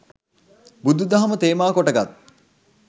බුදු දහම තේමාකොට ගත්